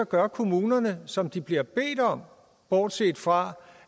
gør kommunerne som de bliver bedt om bortset fra